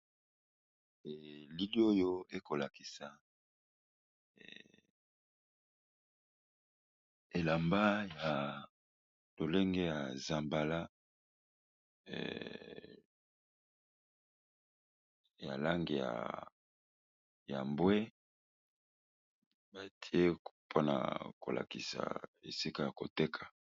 Elili oyo eko lakisa elamba ya lolenge ya zambala ya langi ya mbwe, batie mpona ko lakisa esika ya koteka.